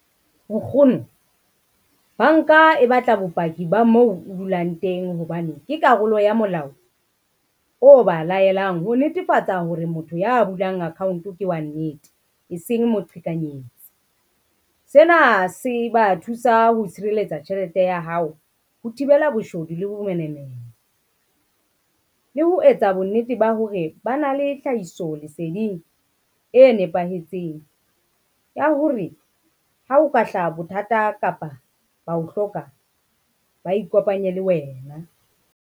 Nkgono, banka e batla bopaki ba moo o dulang teng hobane ke karolo ya molao o ba laelang, ho netefatsa hore motho ya bulang account ke wa nnete eseng moqhekanyetsi. Sena se ba thusa ho tshireletsa tjhelete ya hao, ho thibela boshodu le bo bomenemene, le ho etsa bonnete ba hore ba na le tlhahiso leseding e nepahetseng ya hore ha o ka hlaha bothata kapa ba o hloka, ba ikopanye le wena.